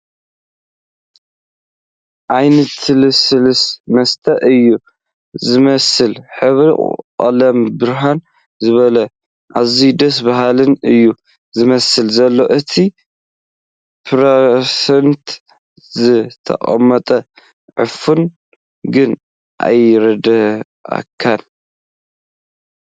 ዓይነትልሱሉስ መስተ እዩ ዝመስል ሕብሪ ቐለሙ ብርህ ዝበለን ኣዝዩ ደስ ዝብልን እዩ ዝመስል ዘሎ እቲ ብ ፐርሰንት ዝተቐመጠ ዕሑፍ ግን ኣይርደኣካን።